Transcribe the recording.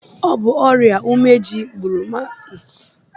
Ọ bụ ọrịa ume ji gbụrụ Maazị Eze